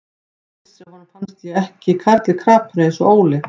Ég vissi að honum fannst ég ekki karl í krapinu eins og Óli.